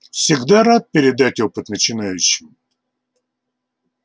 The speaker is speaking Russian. всегда рад передать опыт начинающим